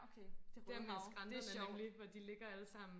ah ja